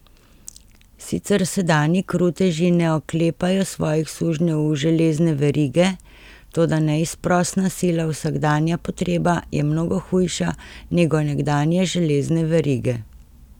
Sicer sedanji kruteži ne oklepajo svojih sužnjev v železne verige, toda neizprosna sila, vsakdanja potreba je mnogo hujša nego nekdanje železne verige.